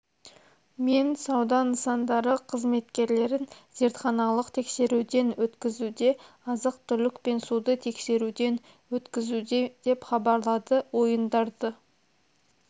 мен сауда нысандары қызметкерлерін зертханалық тексеруден өткізуде азық-түлік пен суды тексеруден өткізуде деп хабарлады ойындарды